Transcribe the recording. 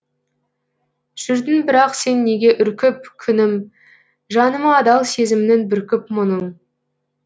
жүрдің бірақ сен неге үркіп күнім жаныма адал сезімнің бүркіп мұңын